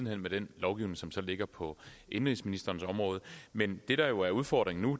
hen med den lovgivning som så ligger på indenrigsministerens område men det der jo er udfordringen nu